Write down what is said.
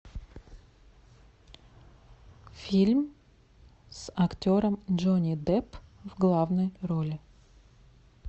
фильм с актером джонни депп в главной роли